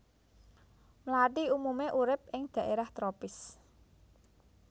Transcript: Mlathi umumé urip ing dhaérah tropis